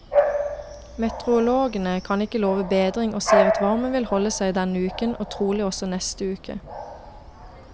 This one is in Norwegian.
Meteorologene kan ikke love bedring og sier at varmen vil holde seg denne uken og trolig også neste uke.